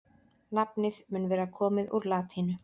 nafnið mun vera komið úr latínu